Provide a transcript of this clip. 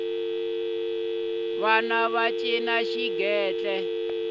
vana va cina xigentle